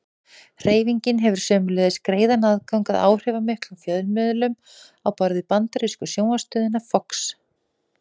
Hreyfingin hefur sömuleiðis greiðan aðgang að áhrifamiklum fjölmiðlum á borð við bandarísku sjónvarpsstöðina Fox.